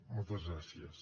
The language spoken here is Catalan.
moltes gràcies